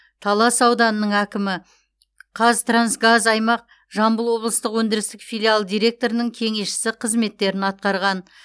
талас ауданының әкімі қазтрансгаз аймақ жамбыл облыстық өндірістік филиалы директорының кеңесшісі қызметтерін атқарған